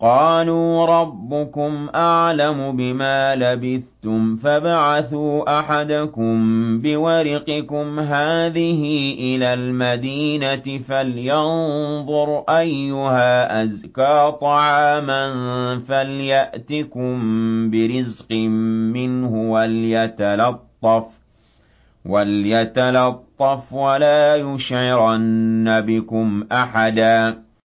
قَالُوا رَبُّكُمْ أَعْلَمُ بِمَا لَبِثْتُمْ فَابْعَثُوا أَحَدَكُم بِوَرِقِكُمْ هَٰذِهِ إِلَى الْمَدِينَةِ فَلْيَنظُرْ أَيُّهَا أَزْكَىٰ طَعَامًا فَلْيَأْتِكُم بِرِزْقٍ مِّنْهُ وَلْيَتَلَطَّفْ وَلَا يُشْعِرَنَّ بِكُمْ أَحَدًا